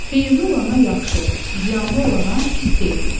Xeyirli olana yaxşı, ziyanlı olana pis deyirik.